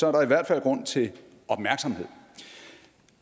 er der i hvert fald grund til opmærksomhed